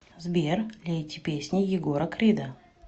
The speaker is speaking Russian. сбер лейте песни егора крида